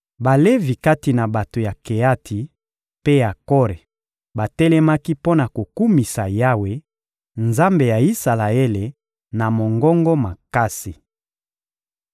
Balevi kati na bato ya Keati mpe ya Kore batelemaki mpo na kokumisa Yawe, Nzambe ya Isalaele, na mongongo makasi.